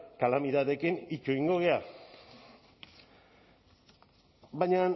kalamidadeekin ito egingo gara baina